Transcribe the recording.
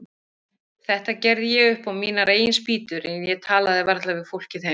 Þetta gerði ég upp á mínar eigin spýtur, en ég talaði varla við fólkið heima.